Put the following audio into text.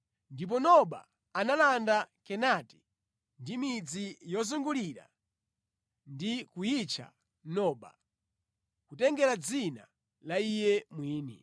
Ndipo Noba analanda Kenati ndi midzi yozungulira ndi kuyitcha Noba, kutengera dzina la iye mwini.